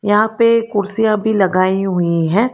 यहां पे कुर्सियां भी लगाई हुई हैं।